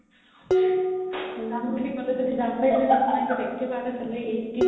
যাম বুলি ক'ল যদি যাব পাৰিলো হয় একেবাৰতে salary eighty